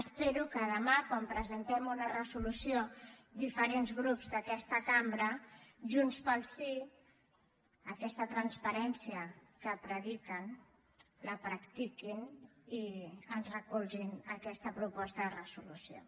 espero que demà quan presentem una resolució diferents grups d’aquesta cambra junts pel sí aquesta transparència que prediquen la practiquin i ens recolzin aquesta proposta de resolució